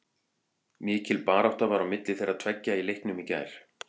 Mikil barátta var á milli þeirra tveggja í leiknum í gær.